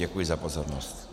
Děkuji za pozornost.